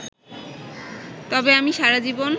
তবে আমি সারা জীবন